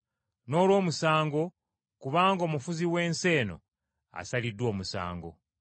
n’olw’omusango, kubanga omufuzi w’ensi eno asaliddwa omusango.